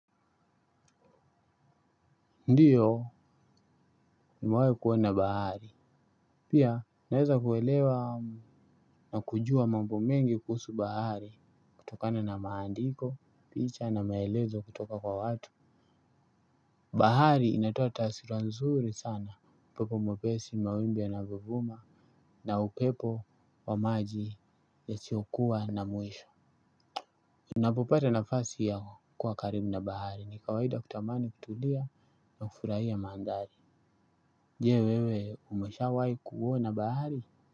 Ndiyo nimewahi kuona bahari. Pia naweza kuelewa na kujua mambo mengi kuhusu bahari. Kutokana na maandiko, picha na maelezo kutoka kwa watu. Bahari inatoa taswira nzuri sana. Upepo mwepesi, mawimbi yanyovuma na upepo wa maji yasiyokuwa na mwisho. Unapopata nafasi ya kuwa karibu na bahari. Ni kawaida kutamani kutulia na kufurahia mandhari. Je wewe umeshawai kuona bahari.